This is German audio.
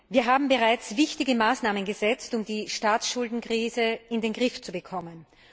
Wir haben bereits wichtige Maßnahmen gesetzt, um die Staatsschuldenkrise in den Griff zu bekommen.